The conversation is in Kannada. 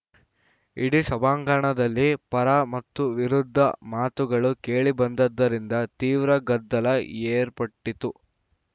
ಇಡೀ ಸಭಾಂಗಣದಲ್ಲಿ ಪರ ಮತ್ತು ವಿರುದ್ಧ ಮಾತುಗಳು ಕೇಳಿಬಂದಿದ್ದರಿಂದ ತೀವ್ರ ಗದ್ದಲ ಏರ್ಪಟ್ಟಿತು